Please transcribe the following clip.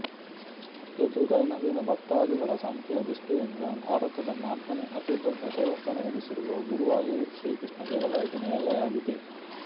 ಇದು ದೈನಂದಿನ ಭಕ್ತಾದಿಗಳ ಸಂಖ್ಯೆಯ ದೃಷ್ಟಿಯಿಂದ ಭಾರತದ ನಾಲ್ಕನೆ ಅತಿ ದೊಡ್ಡ ದೇವಸ್ಥಾನವೆನಿಸಿರುವ ಗುರುವಾಯೂರು ಶ್ರೀ ಕೃಷ್ಣ ದೇವಾಲಯದ ನೆಲೆಯಾಗಿದೆ